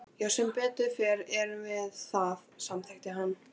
Já sem betur fer erum við það, samþykkir hann.